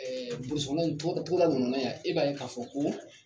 burusi kɔnɔna togo togoda ninnu na yan e b'a ye ka fɔ ko